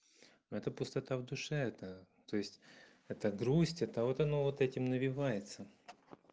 это пустота в душе это то есть эта грусть это вот оно вот этим навивается